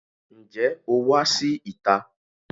Ǹjẹ́ o wá sí ìta?